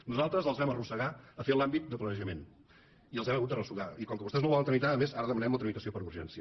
nosaltres les vam arrossegar a fer l’àmbit de planejament i els hem hagut d’arrossegar i com que vostès no ho volen tramitar a més ara demanem la tramitació per urgència